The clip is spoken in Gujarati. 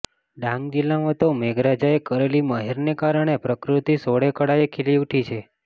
ડાંગ જીલ્લામાં તો મેઘરાજાએ કરેલી મહેરને કારણે પ્રકૃતિ સોળે કળાએ ખીલી ઉઠી છે